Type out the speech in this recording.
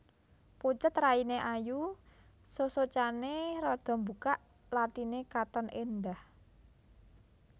Pucet rainé ayu sosocané rada mbukak lathiné katon éndhah